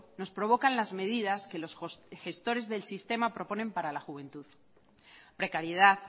nos provocan las medidas que los gestores del sistema proponen para la juventud precariedad